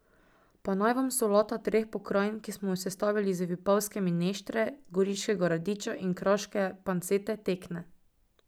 Pa naj vam solata treh pokrajin, ki smo jo sestavili iz vipavske mineštre, goriškega radiča in kraške pancete, tekne.